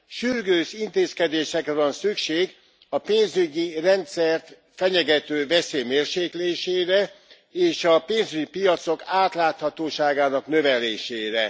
Sürgős intézkedésekre van szükség a pénzügyi rendszert fenyegető veszély mérséklésére és a pénzügyi piacok átláthatóságának növelésére.